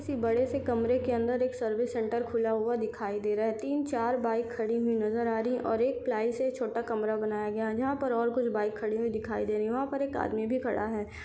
इसी बड़े से कमरे के अंदर एक सर्विस सेंटर खुला हुआ दिखाई दे रहा है तीन चार बाइक खड़ी हुई नज़र आ रही है और एक पिलाई से छोटा कमरा बनाया गया जहाँ पर और कुछ बाइक खड़ी वी दिखाई दे रही है वहाँ पर एक आदमी भी खड़ा है।